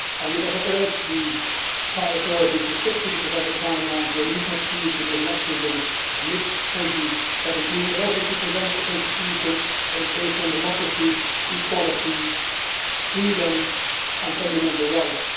We therefore urge the Thai authorities not only to stick to the presented timeline for a new constitution, with elections in mid 2017, but also to present a constitution that is based on democracy, equality, freedom and fundamental rights.